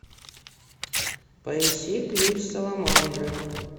поищи ключ саламандры